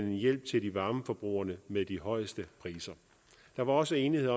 en hjælp til de varmeforbrugere med de højeste priser der var også enighed